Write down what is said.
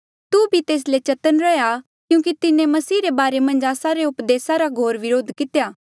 तू भी तेस ले चतन्न रैंहयां क्यूंकि तिन्हें मसीह रे बारे मन्झ आस्सा रे उपदेसा रा घोर व्रोध कितेया